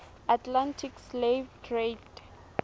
atlantic slave trade